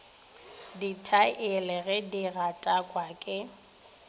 dithaele ge di gatakwa ke